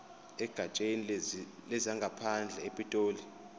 egatsheni lezangaphandle epitoli